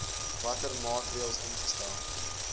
watter maatreëls ingestel